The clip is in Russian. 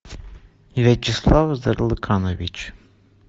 вячеслав зарлыканович